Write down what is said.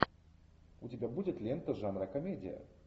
у тебя будет лента жанра комедия